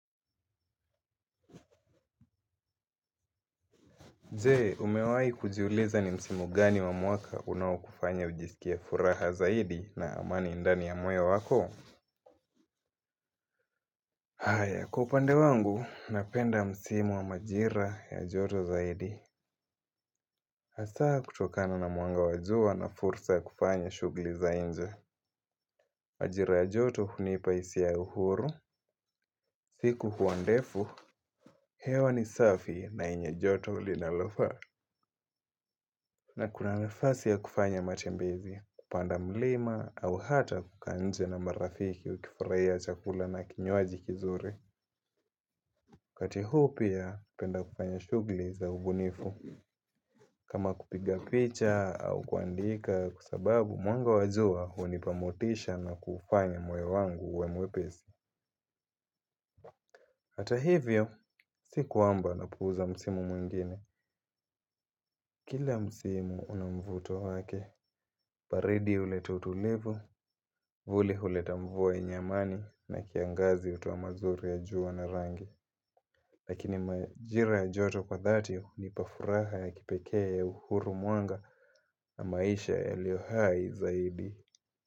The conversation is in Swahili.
Jee, umewahi kujiuliza ni msimu gani wa mwaka unaokufanya ujisikie furaha zaidi na amani ndani ya moyo wako? Aya, kwa upande wangu, napenda msimu wa majira ya joto zaidi. Hasa kutokana na mwanga wa jua na fursa ya kufanya shughuli za nje. Majira ya joto hunipa hisia ya uhuru, siku huwa ndefu, hewa ni safi na yenye joto linalofaa. Kuna kuna nafasi ya kufanya matembezi, kupanda mlima au hata kukaa nje na marafiki wakifurahia chakula na kinywaji kizuri. Wakati huu pia, hupenda kufanya shughuli za ubunifu. Kama kupiga picha au kuandika kwa sababu mwanga wa jua hunipa motisha na kufanya moyo wangu uwe mwepesi. Hata hivyo, si kwamba napuuza msimu mwingine. Kila msimu una mvuto wake, baridi huleta utulivu, vuli huleta mvua yenye amani na kiangazi hutoa mazuri ya jua na rangi. Lakini majira ya joto kwa dhati hunipa furaha ya kipekee ya uhuru mwanga na maisha yalio hai zaidi.